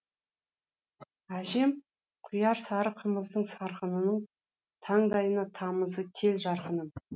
әжем құяр сары қымыздың сарқынының таңдайыңа тамыза кел жарқыным